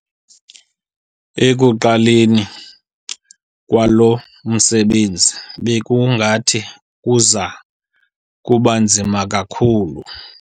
Ekuqaleni kwalo msebenzi bekungathi kuza kuba nzima kakhulu.